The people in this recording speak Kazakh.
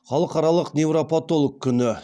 халықаралық неврапатолог күні